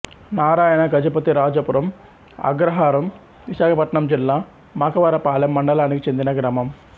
నారాయణ గజపతిరాజపురం అగ్రహారం విశాఖపట్నం జిల్లా మాకవరపాలెం మండలానికి చెందిన గ్రామం